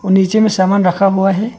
और नीचे में सामान रखा हुआ है।